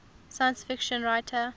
science fiction writer